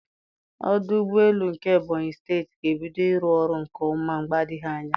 Ọdụ ụgbọ elu nke Ebonyị steeti ga-ebido ịrụ ọrụ nke ọma mgbe adịghị anya.